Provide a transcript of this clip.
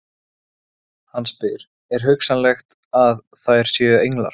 Hann spyr: er hugsanlegt að þær séu englar?